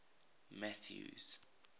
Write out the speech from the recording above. mathews